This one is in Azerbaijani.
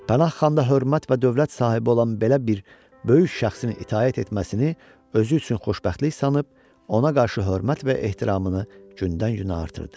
Pənah xan da hörmət və dövlət sahibi olan belə bir böyük şəxsin itaət etməsini özü üçün xoşbəxtlik sanıb, ona qarşı hörmət və ehtiramını gündən-günə artırdı.